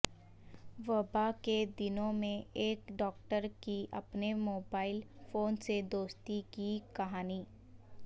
وبا کے دنوں میں ایک ڈاکٹر کی اپنے موبائل فون سے دوستی کی کہانی